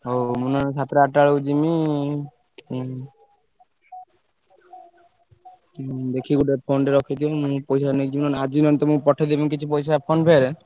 ହଉ ମୁଁ ନହେଲେ ସାତଟା ଆଠଟା ବେଳକୁ ଯିମି ଉଁ ଉଁ ଦେଖି ଗୋଟେ phone ଟେ ରଖିଥିବ ମୁଁ ପଇସା ନେଇଯିବି ନହେଲେ ଆଜି ନହେଲେ ତମୁକୁ ପଠେଇଦେବି କିଛି ପଇସା PhonePe ରେ।